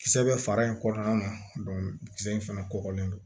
Kisɛ bɛ fara in kɔnɔna na kisɛ in fana kɔkɔlen don